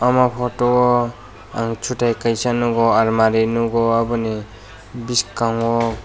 omo photo o ang chutai kaisa nogo almari nogo oboni biskango.